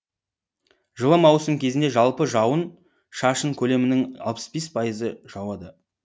жылы маусым кезінде жалпы жауын шашын көлемінің алпыс бес пайызы жауады